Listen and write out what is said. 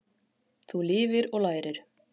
Þú lifir og lærir.